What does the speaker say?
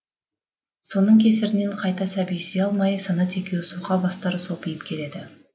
соның кесірінен қайта сәби сүйе алмай санат екеуі соқа бастары сопиып келеді